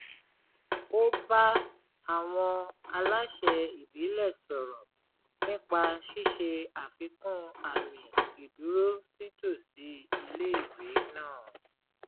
ó bá àwọn aláṣẹ ìbílẹ̀ sọ̀rọ̀ nípa ṣíṣe àfikún àmì ìdúró sítòsí iléèwé náà